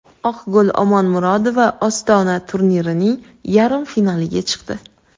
Oqgul Omonmurodova Ostona turnirining yarim finaliga chiqdi.